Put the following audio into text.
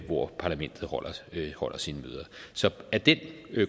hvor parlamentet holder sine møder så af den